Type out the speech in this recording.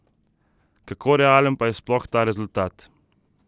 Kako realen pa je sploh ta rezultat?